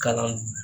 Kalan